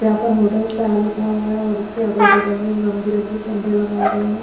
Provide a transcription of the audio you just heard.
जहां पर hotel star लिखा हुआ है और इसके अगल बगल में रंग बिरंगे झंडे लगाए गए हैं।